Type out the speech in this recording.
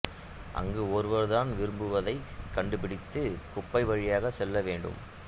அங்கு ஒருவர் தான் விரும்புவதைக் கண்டுபிடிக்க குப்பை வழியாகச் செல்ல வேண்டும்